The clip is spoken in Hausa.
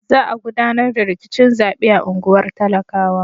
Za a gudanar da rikicin zaɓe a unguwar talakawa.